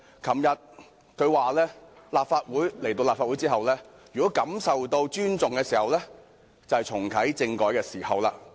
她昨天表示，如果來到立法會後感受到尊重，那便是重啟政改的時候。